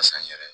n yɛrɛ